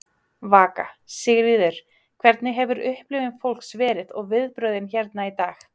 Vaka: Sigríður, hvernig hefur upplifun fólks verið og viðbrögðin hérna í dag?